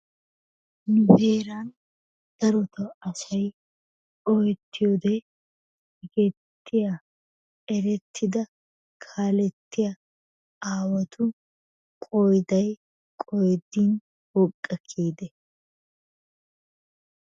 Nu heeran darotoo asayi ooyettiyode sigettiya erettida kaalettiya aawatu qoodayi qoodin woqqa kiyidee?